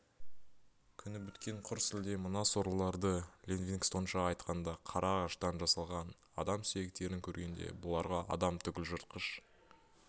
күні біткен құр сүлде мына сорлыларды линвингстонша айтқанда қара ағаштан жасалған адам сүйектерін көргенде бұларға адам түгіл жыртқыш